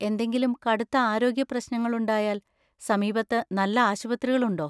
എന്തെങ്കിലും കടുത്ത ആരോഗ്യ പ്രശ്നങ്ങള്‍ ഉണ്ടായാൽ, സമീപത്ത് നല്ല ആശുപത്രികളുണ്ടോ?